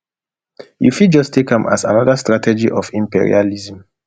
you fit just take am as anoda strategy of imperialism